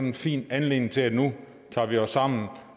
en fin anledning til at vi nu tager os sammen